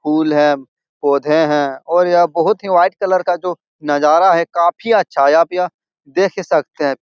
फूल है पौधे है और यह बहोत ही वाइट कलर का जो नज़ारा है काफी अच्छा है आप यहाँ देख ही सकते हैं।